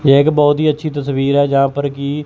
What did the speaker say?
ये एक बहोत ही अच्छी तस्वीर है। जहां पर की--